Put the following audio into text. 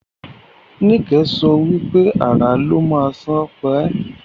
Nike so wipe "Àrà ló má sàn pa e"